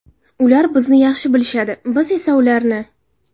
Ular bizni yaxshi bilishadi, biz esa ularni.